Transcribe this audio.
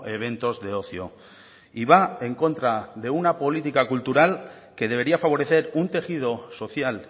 eventos de ocio y va en contra de una política cultural que debería favorecer un tejido social